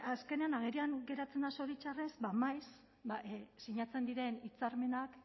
azkenean agerian geratzen da zoritxarrez ba maiz sinatzen diren hitzarmenak